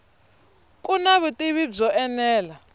ku na vutivi byo enela